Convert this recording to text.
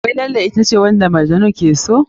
Wai Laila ita ce wanda Majnun ke so?